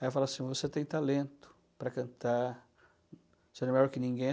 Aí ela falava assim, você tem talento para cantar, você não é melhor que ninguém.